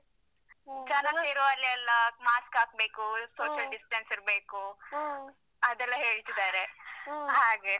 ಜನ ಸೇರುವಲ್ಲಿಯೆಲ್ಲಾ mask ಹಾಕ್ಬೇಕು. social distance ಇರ್ಬೇಕು ಅದೆಲ್ಲ ಹೇಳ್ತಿದಾರೆ ಹಾಗೆ.